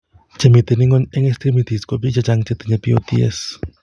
Chemiten ng'weny eng' extrimities ko biik chechang' chetinye POTS